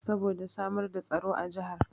Saboda samar da tsaro a jahar